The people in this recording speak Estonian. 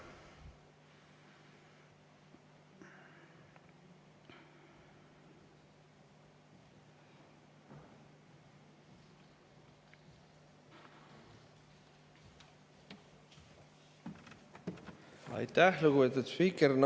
Aitäh, lugupeetud spiiker!